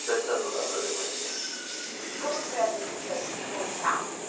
Só estando lá para ver como é que é. E como que foi a decisão de voltar